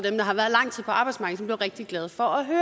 lang tid på arbejdsmarkedet som blev rigtig glade for at høre